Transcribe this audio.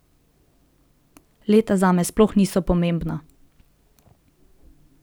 Leta zame sploh niso pomembna.